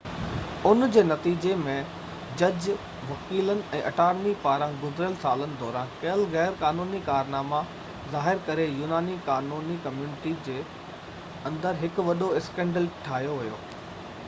ان جي نتيجي ۾، جج، وڪيلن، ۽ اٽارني پاران گذريل سالن دوران ڪيل غيرقانوني ڪارناما ظاهر ڪري يوناني قانوني ڪميونٽي جي اندر هڪ وڏو اسڪينڊل ٺاهيو ويو